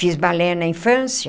Fiz balé na infância.